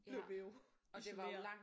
Blev vi jo isoleret